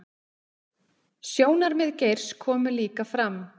Sjónarmið Geirs komi líka fram